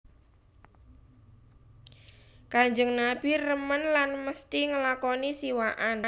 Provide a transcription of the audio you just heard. Kanjeng Nabi remen lan mesti nglakoni siwakan